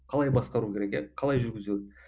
қалай басқару керек иә қалай жүргізу